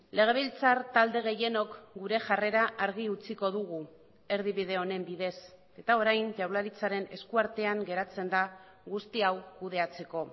legebiltzar talde gehienok gure jarrera argi utziko dugu erdibide honen bidez eta orain jaurlaritzaren eskuartean geratzen da guzti hau kudeatzeko